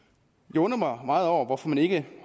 jeg undrer mig meget over hvorfor man ikke